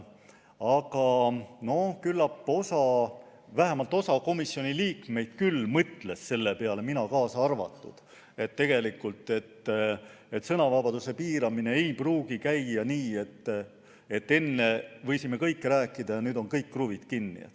Aga küllap vähemalt osa komisjoni liikmeid mõtles selle peale, mina kaasa arvatud, et tegelikult ei pruugi sõnavabaduse piiramine käia nii, et enne võisime rääkida kõike ja nüüd on kõik kruvid kinni.